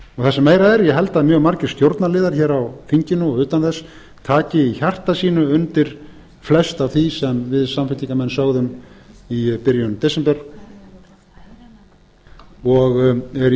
er sem meira er ég hygg að mjög margir stjórnarliðar hér á þinginu og utan þess taki í hjarta sínu undir flest af því sem við samfylkingarmenn sögðum í byrjun desember og er